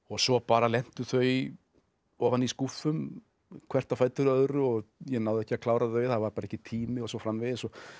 svo bara lentu þau ofan í skúffum hvert á fætur öðru og ég náði ekki að klára þau það var bara ekki tími og svo framvegis